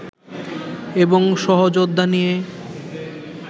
এবং সহযোদ্ধা নিয়ে